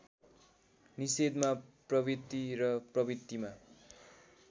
निषेधमा प्रवृत्ति र प्रवृत्तिमा